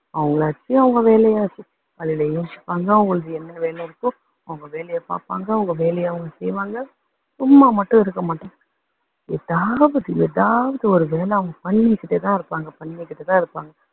அவங்களாச்சு அவங்க வேலையாச்சு, அதுல யோசிப்பாங்க அவங்களுக்கு என்ன வேலை இருக்கோ அவங்க வேலையை பாப்பாங்க, அவங்க வேலையை அவங்க செய்வாங்க. சும்மா மட்டும் இருக்க மாட்டாங்க. எதாவது எதாவது ஒரு வேலை அவங்க பண்ணிக்கிட்டே தான் இருப்பாங்க, பண்ணிக்கிட்டு தான் இருப்பாங்க.